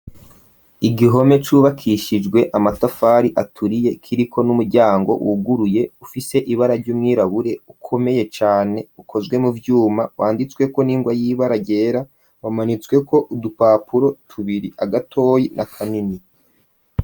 Igihome cubakishijwe amatafari aturiye kiriko n'umuryango wuguruye ufise ibara ry'ubwirabure ukomeye cane ukozwe mu vyuma wanditsweko n'ingwa y'ibara ryera umanitsweko udupapuro tubiri gatoyi na kanini.